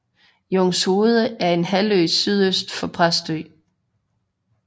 Jungshoved er en halvø sydøst for Præstø